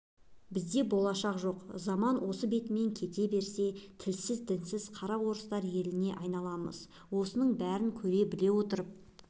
бізде болашақ жоқ заман осы бетімен кете берсе тілсіз дінсіз қара орыстар еліне айналамыз осының бәрін көріп-біле отырып